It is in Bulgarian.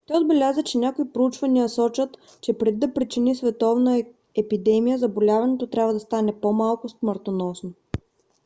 той отбеляза че някои проучвания сочат че преди да причини световна епидемия заболяването трябва да стане по-малко смъртоносно